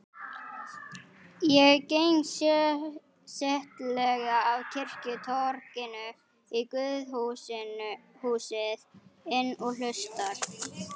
Ég geng settlega af kirkjutorginu í guðshúsið inn og hlusta.